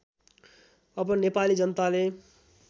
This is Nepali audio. अब नेपाली जनताले